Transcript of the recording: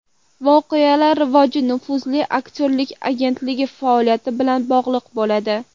Voqealar rivoji nufuzli aktyorlik agentligi faoliyati bilan bog‘liq bo‘ladi.